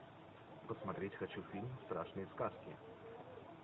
посмотреть хочу фильм страшные сказки